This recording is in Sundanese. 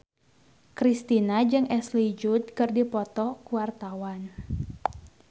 Kristina jeung Ashley Judd keur dipoto ku wartawan